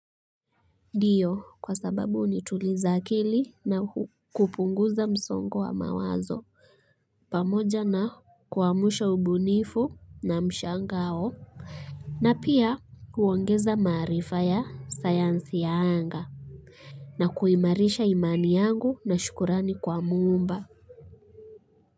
Ndio, kwa sababu hunituliza akili na kupunguza msongo wa mawazo. Pamoja na kuamsha ubunifu na mshangao na pia kuongeza maarifa ya sayansi ya anga. Na kuimarisha imani yangu na shukrani kwa muumba.